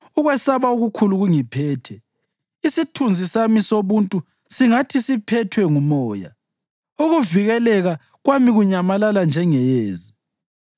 Ukwesaba okukhulu kungiphethe; isithunzi sami sobuntu singathi siphethwe ngumoya, ukuvikeleka kwami kunyamalala njengeyezi.